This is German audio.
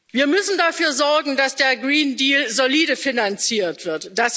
Wir müssen dafür sorgen, dass der Green Deal solide finanziert wird.